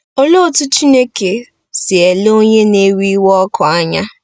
Olee otú Chineke si ele onye na-ewe iwe ọkụ anya?